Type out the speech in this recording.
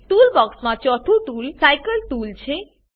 tool બોક્સમાં ચોથું toolbar cycle tool છે